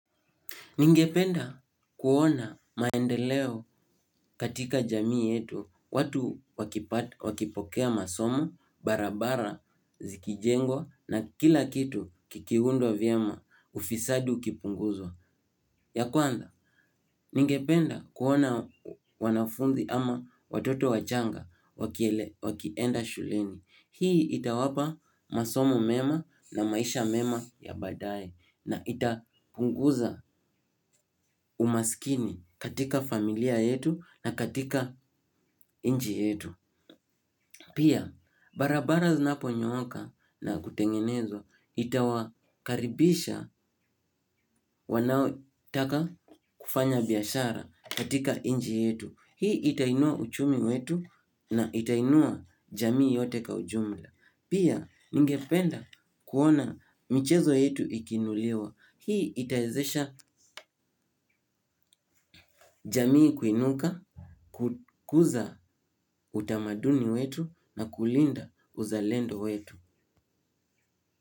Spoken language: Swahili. Ningependa kuona maendeleo katika jamii yetu, watu wakipokea masomo, barabara, zikijengwa, na kila kitu kikiundwa vyema, ufisadi ukipunguzwa. Ya kwanza, ningependa kuona wanafunzi ama watoto wachanga wakienda shuleni. Hii itawapa masomo mema na maisha mema ya badaye na itapunguza umaskini katika familia yetu na katika nchi yetu. Pia, barabara zinapo nyoka na kutengenezwa itawakaribisha wanaotaka kufanya biashara katika nchi yetu. Hii itainua uchumi wetu na itainua jamii yote kwa ujumla. Pia, ningependa kuona michezo yetu ikiinuliwa. Hii itawezesha jamii kuinuka, kukuza utamaduni wetu na kulinda uzalendo wetu.